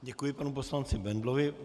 Děkuji panu poslanci Bendlovi.